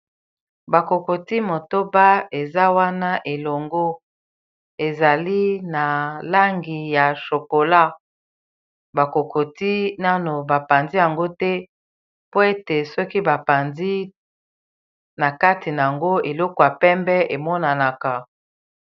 bakokoti motoba eza wana elongo ezali na langi ya chokola bakokoti nano bapanzi yango te po ete soki bapanzi na kati na yango eloko ya pembe emonanaka